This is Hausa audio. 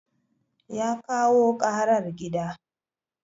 Ya kawo karar gida.